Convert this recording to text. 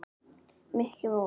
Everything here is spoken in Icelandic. Mikki mús.